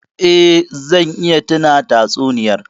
Eh, zan iya tuna tatsuniyar.